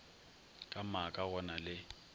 ka maaka go na le